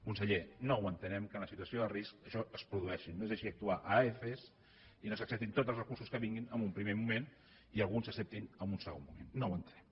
conseller no entenem que en la situació de risc això es produeixi no deixi actuar a adf i no s’acceptin tots els recursos que vinguin en un primer moment i alguns s’acceptin en un segon moment no ho entenem